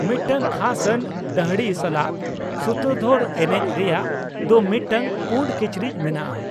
ᱢᱤᱫᱴᱟᱝ ᱠᱷᱟᱥ ᱟᱱ ᱫᱟᱹᱲᱦᱤ ᱥᱟᱞᱟᱜ ᱥᱩᱛᱨᱚᱫᱷᱚᱨ ᱮᱱᱮᱡ ᱨᱮᱭᱟᱜ ᱫᱚ ᱢᱤᱫᱴᱟᱝ ᱯᱩᱸᱰ ᱠᱤᱪᱨᱤᱡ ᱢᱮᱱᱟᱜᱼᱟ ᱾